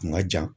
Kun ka jan